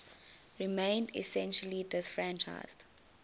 remained essentially disfranchised